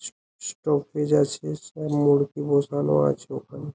স স আছে সব মুড়কি বোঝানো আছে ওখানে।